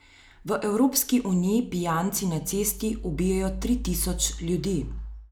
V Evropski uniji pijanci na cesti ubijejo tri tisoč ljudi.